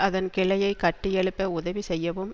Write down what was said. அதன் கிளையை கட்டியெழுப்ப உதவி செய்யவும்